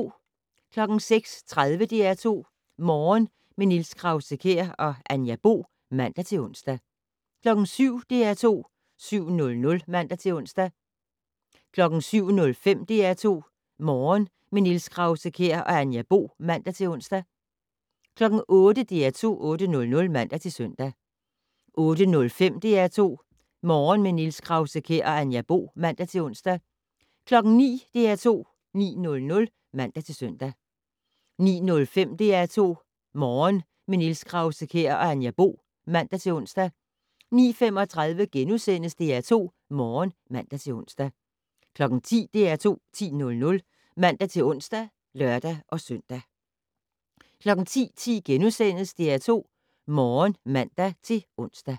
06:30: DR2 Morgen - med Niels Krause-Kjær og Anja Bo (man-ons) 07:00: DR2 7:00 (man-ons) 07:05: DR2 Morgen - med Niels Krause-Kjær og Anja Bo (man-ons) 08:00: DR2 8:00 (man-søn) 08:05: DR2 Morgen - med Niels Krause-Kjær og Anja Bo (man-ons) 09:00: DR2 9:00 (man-søn) 09:05: DR2 Morgen - med Niels Krause-Kjær og Anja Bo (man-ons) 09:35: DR2 Morgen *(man-ons) 10:00: DR2 10:00 (man-ons og lør-søn) 10:10: DR2 Morgen *(man-ons)